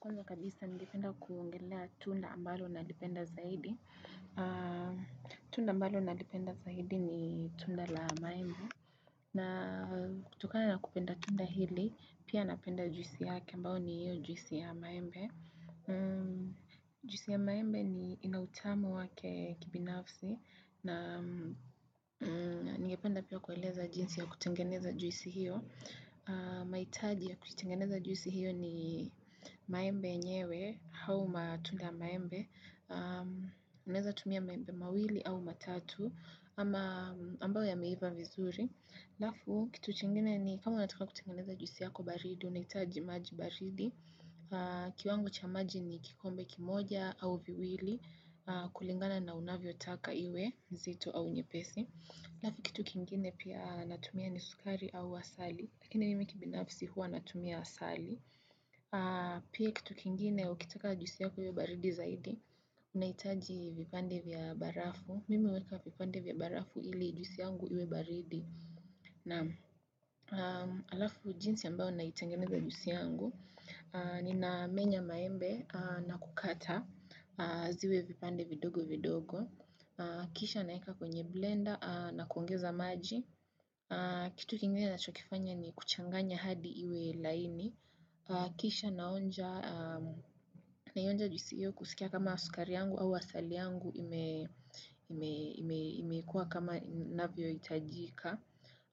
Kwanza kabisa, ningependa kuongelea tunda ambalo nalipenda zaidi. Tunda ambalo nalipenda zaidi ni tunda la maembe. Na kutokana na kupenda tunda hili, pia napenda juisi yake ambao ni juisi ya maembe. Juisi ya maembe ni ina utamu wake kibinafsi. Na ningependa pia kueleza jinsi ya kutengeneza juisi hiyo. Maitaji ya kukitengeneza juisi hiyo ni maembe yenyewe hau matunda ya maembe unaeza tumia maembe mawili au matatu ama ambao yameiva vizuri alafu kitu kingine ni kama unataka kutengeneza juisi yako baridi unaitaji maji baridi kiwango cha maji ni kikombe kimoja au viwili kulingana na unavyo taka iwe zito au nyepesi Alafu kitu kingine pia natumia ni sukari au asali Lakini mimi kibinafsi huwa natumia asali Pia kitu kingine ukitaka juisi yaku iwe baridi zaidi unaitaji vipande vya barafu Mimi huweka vipande vya barafu ili juisi yangu iwe baridi na alafu jinsi ambao unaitengeneza juisi yangu Nina menya maembe na kukata ziwe vipande vidogo vidogo Kisha naeka kwenye blender na kuongeza maji kitu kingine nacho kifanya ni kuchanganya hadi iwe laini Kisha naonja juisi iyo kusikia kama sukari yangu au asali yangu imekua kama navyo itajika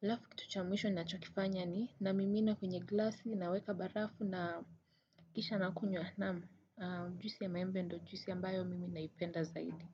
Alafu kitu cha mwisho nacho kifanya ni namimina kwenye glasi naweka barafu na kisha na kunywa naamu Juisi ya maembe ndo, juisi ambayo mimi naipenda zaidi.